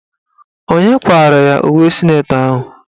Onye kwara ya uwe sịnetọ ahụ?